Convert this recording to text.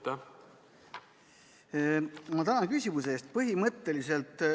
Tänan küsimuse eest!